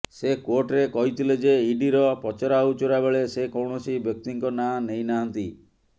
ସେ କୋର୍ଟରେ କହିଥିଲେ ଯେ ଇଡ଼ିର ପଚରାଉଚରା ବେଳେ ସେ କୌଣସି ବ୍ୟକ୍ତିଙ୍କ ନାଁ ନେଇନାହାନ୍ତି